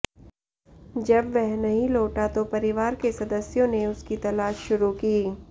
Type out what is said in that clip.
जब वह नहीं लौटा तो परिवार के सदस्यों ने उसकी तलाश शुरू की